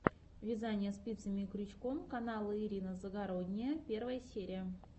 вязание спицами и крючком канал ирина загородния первая серия